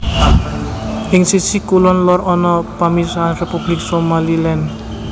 Ing sisih kulon lor ana pamisahan Republik Somaliland